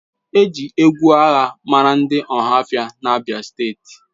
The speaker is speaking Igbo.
E ji egwu agha mara ndị Ohaofia na abia steeti.